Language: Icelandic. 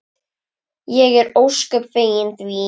Ég er ósköp fegin því.